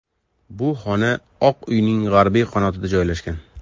Bu xona Oq uyning g‘arbiy qanotida joylashgan.